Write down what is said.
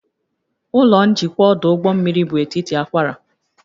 Ụlọ njikwa ọdụ ụgbọ mmiri bụ etiti akwara